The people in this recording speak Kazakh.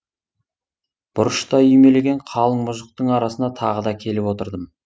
бұрышта үймелеген қалың мұжықтың арасына тағы да келіп отырдым